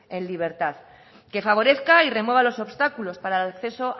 en libertad que favorezca y remueva los obstáculos para el acceso